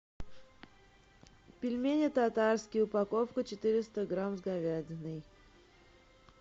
пельмени татарские упаковка четыреста грамм с говядиной